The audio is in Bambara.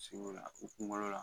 A sir'ula u kunkolo la